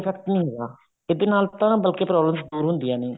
effect ਨੀ ਹੈਗਾ ਇਹਦੇ ਨਾਲ ਤਾਂ ਬਾਕੀ problems ਦੂਰ ਹੁੰਦੀਆਂ ਨੇ